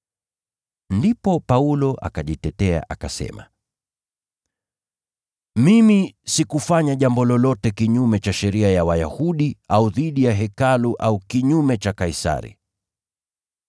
Ndipo Paulo akajitetea, akasema, “Mimi sikufanya jambo lolote kinyume cha sheria ya Wayahudi au dhidi ya Hekalu au kinyume cha Kaisari.”